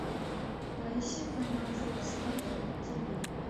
поищи канал фокс лайф на тв